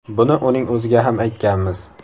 Buni uning o‘ziga ham aytganmiz.